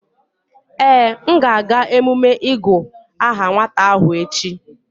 Ee, m ga-aga emume ịgu aha nwata ahụ echi